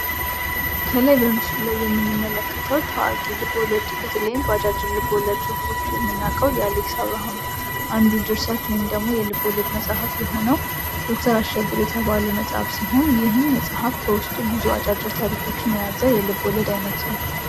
ከላይ በምስሉ ላይ የምንመለከተዉ ታዋቂ ልቦለድ በተለይ የአጫጭር ልቦለድ ፅሁፎች የምናዉቀዉ የአሌክስ አብርሃም አንዱ ድርሰት ወይም የልቦለድ መፅሐፍ የሆነዉ "ዶክተር አሸብር" የተባለዉ መፅሐፍ ሲሆን ይህም መፅሐፍ በዉስጡ የተለያዩ አጫጭር ልብ ወለዶችን የያዘ መፅሐፍ ነዉ።